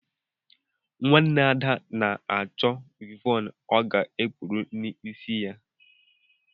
Nwanne Ada na-achọ wịvọnụ ọ ga-ekpu n’isi ya